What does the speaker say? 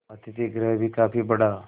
अतिथिगृह भी काफी बड़ा